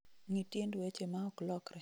ng�i tiend weche ma ok lokre